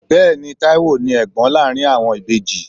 Bẹẹni, Taiwo ni Ẹ̀gbọ́n láàárín àwọn ìbejì.